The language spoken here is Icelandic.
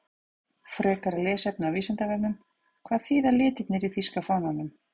Frekara lesefni á Vísindavefnum: Hvað þýða litirnir í þýska fánanum?